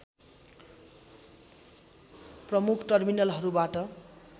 प्रमुख टर्मिनलहरूबाट